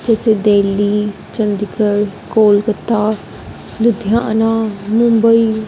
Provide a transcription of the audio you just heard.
जैसे देली चंडीगढ़ कोलकाता लुधियाना मुंबई।